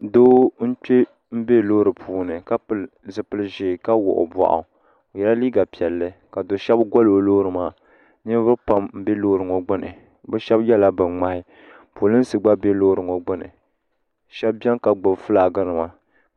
Doo n kpe m be loori puuni ka pili zipil'ʒee ka wuɣi o boɣu o yela liiga piɛlli ka do sheba goli o lori maa niriba pam n biɛ loori ŋɔgbini bɛ sheba yela binŋmahi polinsi gba be loori maa gbini sheba biɛni ka gbibi filaaki nima.